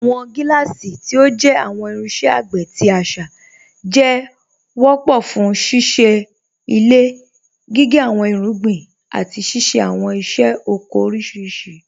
Awọn giláàsí, tí ó jẹ́ awọn irinṣẹ̀ àgbé tí àṣá, jẹ́ wápọ̀ fún síṣẹ ilẹ̀, gígẹ́ awọn irúgbìn, àti ṣíṣẹ̀ awọn iṣẹ̀ ọkọ̀ oríṣiríṣì.